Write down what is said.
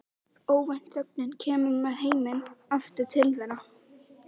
Óvænt þögnin kemur með heiminn aftur til þeirra.